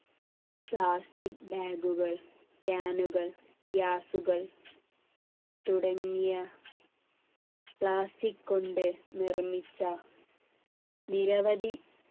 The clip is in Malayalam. plastic bag കൾ can കൾ gas കൾ തുടങ്ങിയ plastic കൊണ്ട് നിർമ്മിച്ച നിരവധി